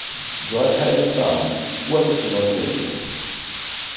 jwa tlhaeletsano puo ke senotlele